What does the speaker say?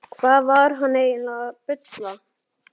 Hvað var hann eiginlega að bulla?